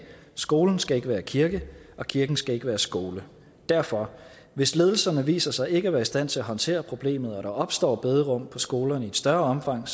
skolen skal ikke være kirke og kirken skal ikke være skole derfor hvis ledelserne viser sig ikke at være i stand til at håndtere problemet og der opstår bederum på skolerne i et større omfang